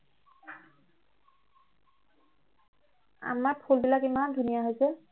আমাৰ ফুলবিলাক ইমান ধুনীয়া হৈছে